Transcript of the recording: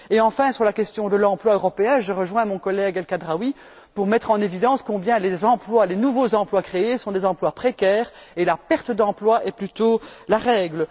Enfin, sur la question de l'emploi européen, je rejoins mon collège El Khadraoui pour mettre en évidence à quel point les nouveaux emplois créés sont des emplois précaires et la perte d'emplois est plutôt la règle.